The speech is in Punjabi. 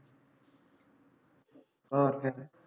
ਹੋਰ ਫੇਰ